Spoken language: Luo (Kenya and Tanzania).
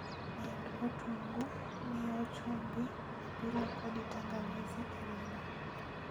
med otungu , mio chumbi ,apilo kodi tangawizi e ring'o